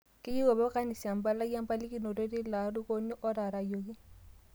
Keyiu apa kanisa e mpalai empalikino te ilo airukoni otaarayioki